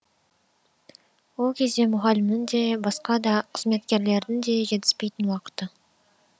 ол кезде мұғалімнің де басқа да қызметкерлердің де жетіспейтін уақыты